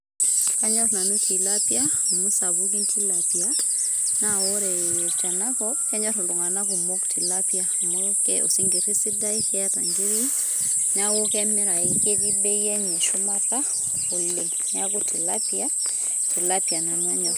Kanyorr nanu tilapia, amu kisapukin tilapia, naa ore tenakop kenyor iltungana kumok oleng tilapia, amu ke osinkirri sidai keeta ingiri niaku kemirayu niaku ketii bei enye shumata oleng ,niaku tilapia tilapia nanu anyorr.